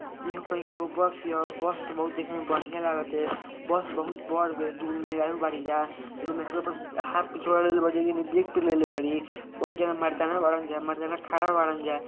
एगो कहीं के बस हिया बस त बहुत देखे में बढ़िया लाग तिया बस बहुत बड़ बिया दू गो मेहरारू बाड़ी जा एगो मेहरारू आपन हाथ पीछे लेले बाड़ी एक जानी बैग पर लेले बाड़ी बहुत जाना मरदाना बाड़न जा मरदाना खाड़ा बाड़न जा।